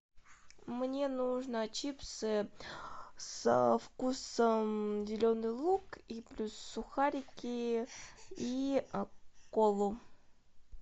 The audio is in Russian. мне нужно чипсы со вкусом зеленый лук и плюс сухарики и колу